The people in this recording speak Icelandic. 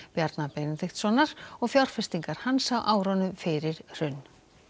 Bjarna Benediktssonar og fjárfestingar hans á árunum fyrir hrun